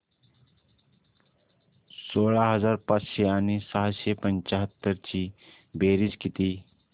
सोळा हजार पाचशे आणि सहाशे पंच्याहत्तर ची बेरीज किती